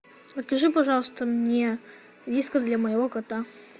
закажи пожалуйста мне вискас для моего кота